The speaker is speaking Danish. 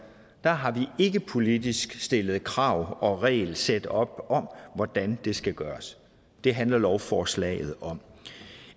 har vi ikke politisk stillet krav og regelsæt op om hvordan det skal gøres det handler lovforslaget om